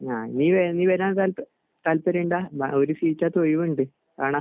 ഞാൻ നീ വ നീ വരാൻ താല്പര്യം ഉണ്ടോ? ഒരു സീറ്റ് ഇപ്പോൾ ഒഴിവുണ്ട്. വേണോ?